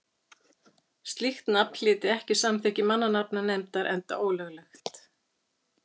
slíkt nafn hlyti ekki samþykki mannanafnanefndar enda ólöglegt